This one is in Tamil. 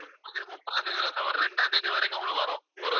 முப்பதாம் தேதி ஒரு இரண்டாம் தேதிவரைக்கும் உங்களுக்கு வரும்.